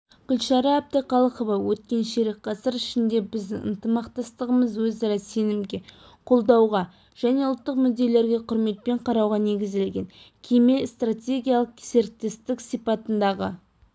гүлшара әбдіқалықова өткен ширек ғасыр ішінде біздің ынтымақтастығымыз өзара сенімге қолдауға және ұлттық мүдделерге құрметпен қарауға негізделген кемел стратегиялық серіктестік сипатындағы